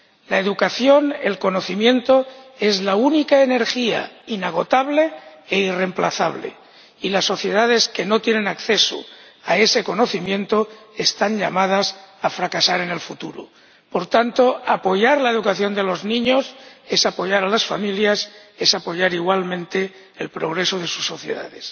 La educación y el conocimiento son la única energía inagotable e irremplazable, y las sociedades que no tienen acceso a ellos están llamadas a fracasar en el futuro. Por tanto, apoyar la educación de los niños es apoyar a las familias, es apoyar igualmente el progreso de sus sociedades.